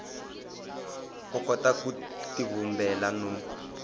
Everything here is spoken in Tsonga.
u kota ku tivumbela no